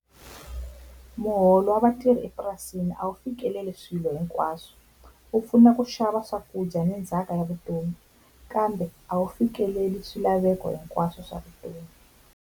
Muholo wa vatirhi epurasini a wu fikeleli swilo hinkwaswo wu pfuna ku xava swakudya ni ndzhaka ya vutomi, kambe a wu fikeleli swilaveko hinkwaswo swa vutomi.